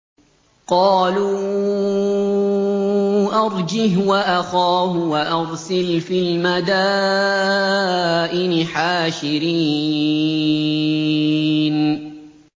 قَالُوا أَرْجِهْ وَأَخَاهُ وَأَرْسِلْ فِي الْمَدَائِنِ حَاشِرِينَ